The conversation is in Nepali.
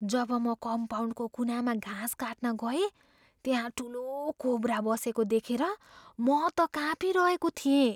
जब म कम्पाउन्डको कुनामा घाँस काट्न गएँ, त्यहाँ ठुलो कोब्रा बसेको देखेर म त काँपिरहेको थिएँ।